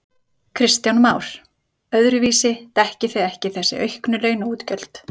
Kristján Már: Öðruvísi dekkið þið ekki þessi auknu launaútgjöld?